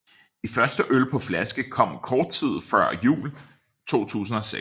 De første øl på flaske kom kort tid før jul 2006